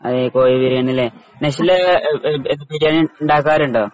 അതെ കോഴിബിരിയാണി അല്ലെ നശ്വല അഹ് എന്ത് ബിരിയാണി ഉണ്ടാകാറുണ്ടോ?